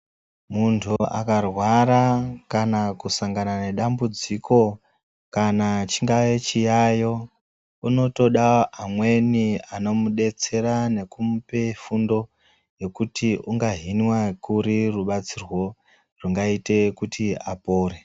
Muntu akarwara kana kusangana nedambudziko kana chingava chiyayo, unotoda amweni anomubetsera nekumupa fundo nekuti unohinwa kuri rubatsirwo rwugaite kuti apore.